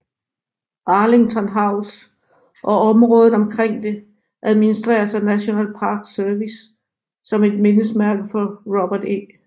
Arlington House og området omkring det administreres af National Park Service som et mindesmærke for Robert E